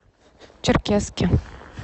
черкесске